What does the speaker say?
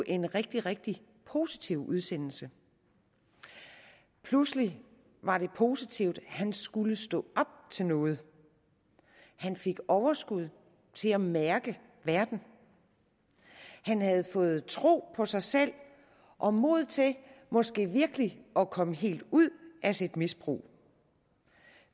en rigtig rigtig positiv udsendelse pludselig var det positivt han skulle stå op til noget han fik overskud til at mærke verden han havde fået tro på sig selv og mod til måske virkelig at komme helt ud af sit misbrug